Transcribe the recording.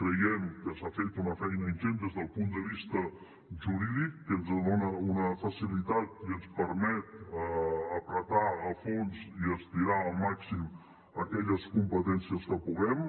creiem que s’ha fet una feina ingent des del punt de vista jurídic que ens dona una facilitat i ens permet apretar a fons i estirar al màxim aquelles competències que puguem